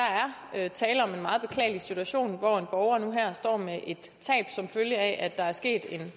er tale om en meget beklagelig situation hvor en borger nu her står med et tab som følge af at der er sket en